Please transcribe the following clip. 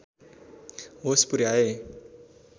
होस पुर्‍याए